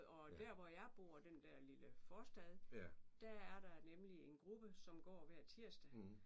Og der hvor jeg bor den der lille forstad der er der nemlig en gruppe som går hver tirsdag